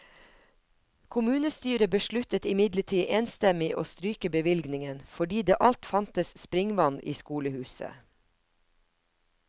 Kommunestyret besluttet imidlertid enstemmig å stryke bevilgningen, fordi det alt fantes springvann i skolehuset.